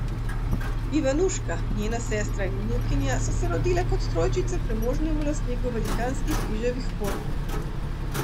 Ivanuška, njena sestra in vnukinja so se rodile kot trojčice premožnemu lastniku velikanskih riževih polj.